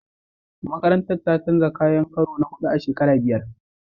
Makarantar ta canja kayan karo na huɗu a shekara biyar.